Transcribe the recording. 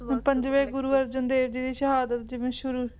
ਪੰਜਵੇਂ ਗੁਰੂ ਅਰਜਨ ਦੇਵ ਜੀ ਦੀ ਸ਼ਹਾਦਤ ਜਿਵੇਂ ਸ਼ੁਰੂ